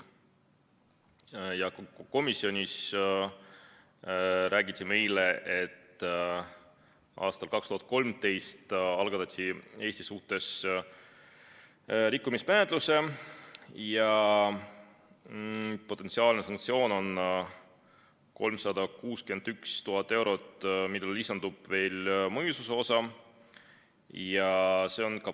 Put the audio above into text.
Komisjonis räägiti meile, et aastal 2013 algatati Eesti suhtes rikkumismenetlus ja potentsiaalne sanktsioon on 361 000 eurot, millele lisandub veel mõjususe osa.